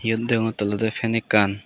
iyot degongotte ole fan ekkan.